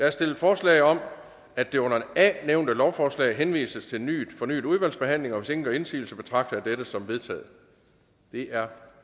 er stillet forslag om at det under a nævnte lovforslag henvises til fornyet udvalgsbehandling hvis ingen gør indsigelse betragter jeg dette som vedtaget det er